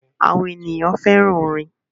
Awọn eniyan fẹran orin